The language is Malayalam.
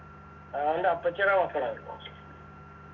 അവന്റെ അപ്പച്ചീടെ മക്കളാ അത്